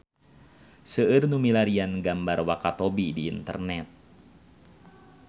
Seueur nu milarian gambar Wakatobi di internet